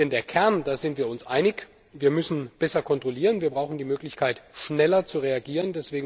Denn über den Kern sind wir uns einig Wir müssen besser kontrollieren, wir brauchen die Möglichkeit, schneller zu reagieren.